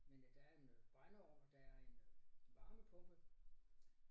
Men øh der er noget brændeovn og der er en øh varmepumpe